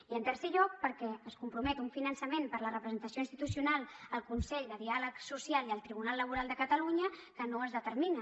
i en tercer lloc perquè es compromet un finançament per a la representació institucional al consell de diàleg social i al tribunal laboral de catalunya que no es determina